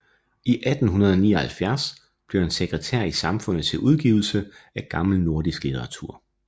I 1879 blev han sekretær i Samfundet til Udgivelse af gammel nordisk Litteratur